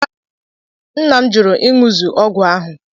nna m jụrụ ịṅụ zuu ọgwụ ahụ